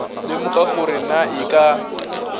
lemoga gore na e ka